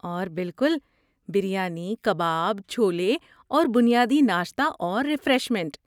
اور بالکل، بریانی، کباب، چھولے اور بنیادی ناشتہ اور ریفریشمنٹ